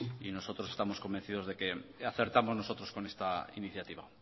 y nosotros estamos convencidos de que acertamos nosotros con esta iniciativa